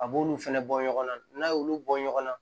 A b'olu fɛnɛ bɔ ɲɔgɔn na n'a y'olu bɔ ɲɔgɔn na